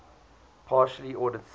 partially ordered sets